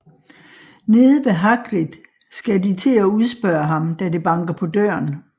Nede ved Hagrid skal de til at udspørge ham da det banker på døren